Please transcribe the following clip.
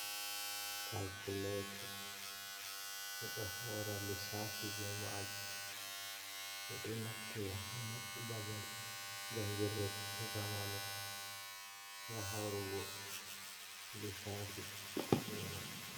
Kalkuletu, be ɗo haura lisafi be majum. Be ɗo naftira babal jangirɗe zamanu ga haurugo lissafi be man.